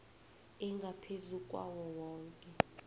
engaphezu kwawo woke